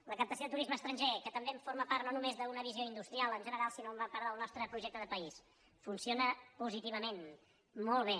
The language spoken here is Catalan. la captació de turisme estranger que també forma part no només d’una visió industri·al en general sinó una part del nostre projecte de país funciona positivament molt bé